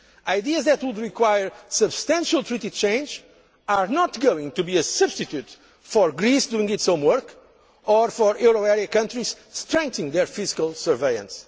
Ideas that would require substantial Treaty change are not going to be a substitute for Greece doing its homework or for euro area countries strengthening their fiscal surveillance.